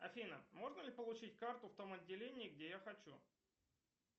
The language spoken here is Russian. афина можно ли получить карту в том отделении где я хочу